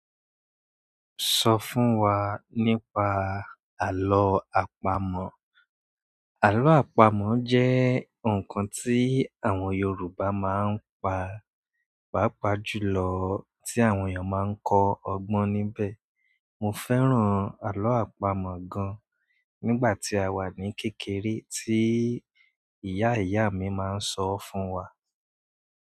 Sọ fún wa nípa àlọ́ àpamọ̀. Àlọ́ àpamọ̀ jẹ́ ǹkan tí àwọn Yorùbá máa ń pa pàápàá jùlọ tí àwọn èèyàn máa ń kọ ọgbọ́n níbẹ̀. Mo fẹ́ràn àlọ́ àpamọ̀ gan-an nígbà tí a wà ní kékeré tí ìyá ìyá mi máa ń sọ fún wa.